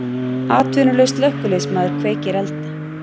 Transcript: Atvinnulaus slökkviliðsmaður kveikir elda